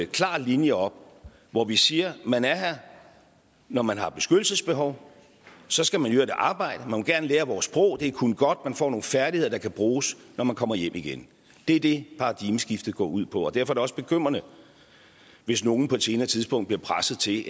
klar linje op hvor vi siger at man er her når man har beskyttelsesbehov og så skal man i øvrigt arbejde og man må gerne lære vores sprog det er kun godt for man får nogle færdigheder der kan bruges når man kommer hjem igen det er det paradigmeskiftet går ud på derfor er det også bekymrende hvis nogen på et senere tidspunkt bliver presset til